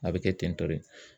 A bɛ kɛ tentɔ de.